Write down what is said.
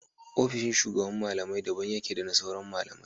Ofishin shugaban malamai daban yake da na sauran malamai